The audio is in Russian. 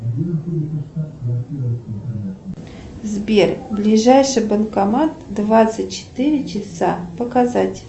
сбер ближайший банкомат двадцать четыре часа показать